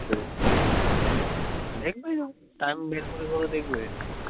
ott plateform